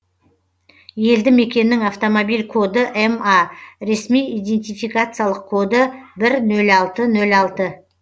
елді мекеннің автомобиль коды ма ресми идентификациялық коды бір нөл алты нөл алты